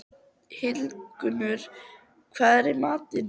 Hildigunnur, hvað er í matinn?